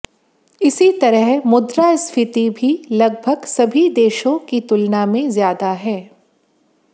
इसी तरह मुद्रास्फीति भी लगभग सभी देशों की तुलना में ज्यादा है